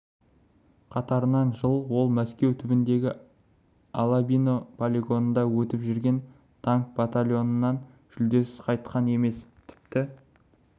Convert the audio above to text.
қатарынан жыл ол мәскеу түбіндегі алабино полигонында өтіп жүрген танк биатлонынан жүлдесіз қайтқан емес тіпті